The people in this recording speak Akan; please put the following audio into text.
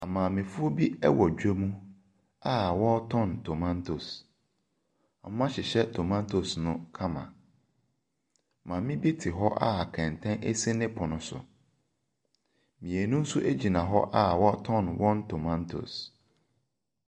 Maamefoɔ bi wɔ dwam a wɔretɔn tomatoes. Wɔahyehyɛ tomatoes no kama. Maame bi te hɔ a kɛntɛn si ne pono so. Mmienu nso gyina hɔ a wɔretɔn wɔn tomatoes.